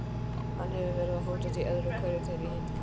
Hann hefur verið að hóta því öðru hverju þegar ég hitti hann.